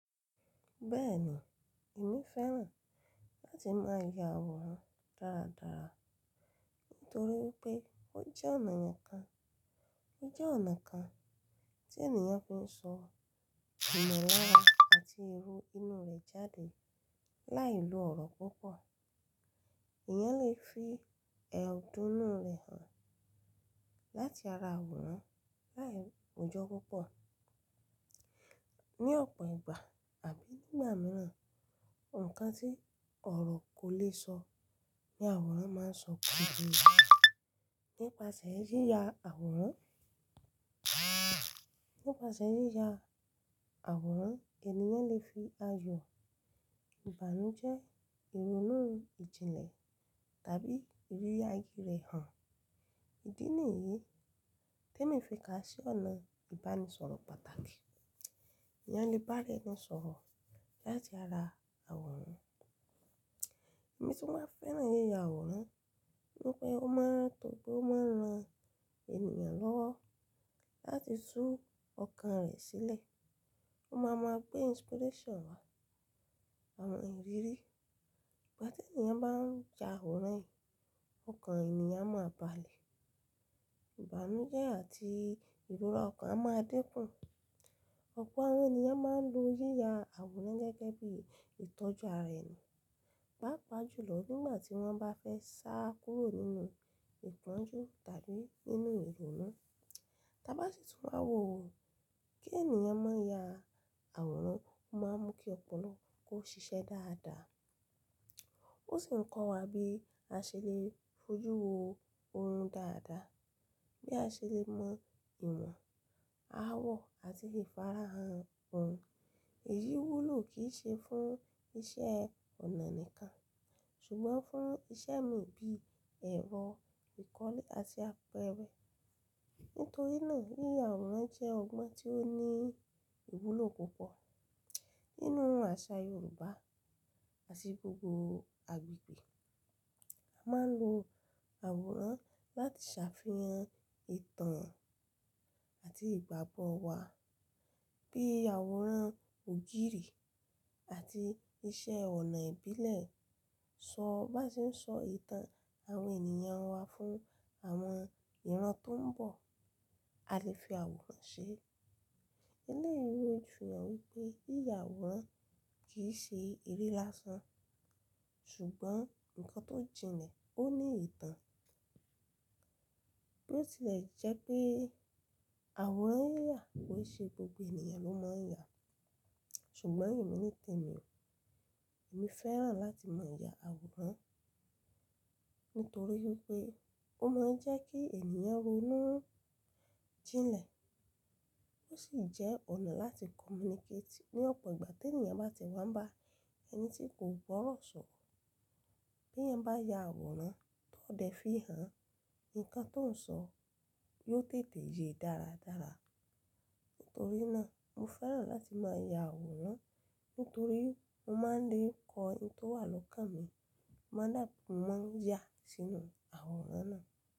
Bẹ́ẹ̀ni, èmi fẹ́ràn láti máa ya àwòrán dáradára nítorí pé ó jẹ́ ọ̀nà kan, ó jẹ́ ọ̀nà kan tí ènìyàn fi ń sọ ìmọ̀lára àti irú inú rẹ̀ jáde láì lo ọ̀rọ̀ púpọ̀. Èèyàn lè fi ẹ̀hódù inú rẹ̀ hàn láti ara àwòrán láì rojọ́ púpọ̀. Ni ọ̀pọ̀ ìgbà àbí nígbà mìíràn, ǹkan tí ọ̀rọ̀ kò le sọ ní àwòrán máa ń sọ púpọ̀. Nípasẹ̀ yíya àwòrán, nípasẹ̀ yíya àwòrán èèyàn lè fi ayọ̀, ìbànújẹ́, ìrònú ìjìnlẹ̀ tàbí ìrírí ayé rẹ̀ hàn. Ídí nìyí tí èmi fi ka sí ọ̀nà ìbánisọ̀rọ̀ pàtàkì. Èèyàn lè bá ra ẹni sọ̀rọ̀ láti ara àwòrán. Èmi tún máa fẹ́ràn yíya àwòrán nítorí pé ó máa ń tòógbó máa ń ran èèyàn lọ́wọ́ láti tú ọkàn rẹ̀ sílẹ̀. Ó máa ma gbé inspiration wá, àwọn ìrírí. Ìgbà tí èèyàn bá ń ya àwòrán yìí, ọkàn èèyàn máa balẹ̀. Ìbànújẹ́ àti ìrora ọkàn a máa dínkù. Ọ̀pọ̀ àwọn èèyàn máa ń lo yíya àwòrán gẹ́gẹ́ bí ìtọ́jú ara ẹni, pàápàá jùlọ nígbà tí wọ́n bá fẹ́ sá kúrò nínú ìtọ́jú tàbí nínú ìrònú. Tábá tìtún máa wò ó, kí èèyàn má ya àwòrán, ó máa mú kí ọpọlọ kó ṣiṣẹ́ dáadáa. Ó sì ń kọ́ wa bí a ṣe lè fojú wo ohun dáadáa, bí a ṣe lè mọ ìwọ̀n, àwọ̀ àti ìfarahàn ohun. Èyí wúlò kì í ṣe fún iṣẹ́ ọnà nìkan ṣùgbọ́n fún iṣẹ́ mìíràn bíi ẹ̀rọ ìkọ́lé àti àpẹrẹ. Nítorí náà yíya àwòrán jẹ́ ọgbọ́n tí ó ní ìwúlò púpọ̀ nínú àṣà Yorùbá àti gbogbo agbègbè. A máa ń lo àwòrán láti ṣàfihàn ìtàn àti ìgbàgbọ́ wa. Bí àwòrán ògiri àti iṣẹ́ ọnà ìbílẹ̀ sọ, bá ṣe ń sọ ìtàn àwọn èèyàn wa fún àwọn ìran tó ń bọ̀, a lè fi àwòrán ṣe é. Ilé ìwé fi hàn wípé yíya àwòrán kì í ṣe eré lásán ṣùgbọ́n ǹkan tó jìnlẹ̀, ó ní ìtàn. Ó sì le jẹ́ pé àwòrán yíya kò ṣe gbogbo èèyàn ló máa ń ya. Ṣùgbọ́n èmi nítèmi, èmi fẹ́ràn láti máa ya àwòrán nítorí wípé ó máa ń jẹ́ kí èèyàn ronú jínlẹ̀. Ó sì jẹ́ ọ̀nà láti communicate ní ọ̀pọ̀ ìgbà tí èèyàn bá ti wá ń bá ẹni tí kò gbọ́rọ̀ sọ̀rọ̀. Bí èèyàn bá ya àwòrán tó dẹ̀ fi hàn ǹkan tó ń sọ yóò tètè ye dáradára. Nítorí náà mo fẹ́ràn láti máa ya àwòrán nítorí mo máa ń lè kọ ǹkan tó wà lọ́kàn mi, moo máa ń yà sínú àwòrán náà.